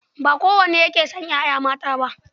Ba kowa ne yake son 'ya'ya mata ba.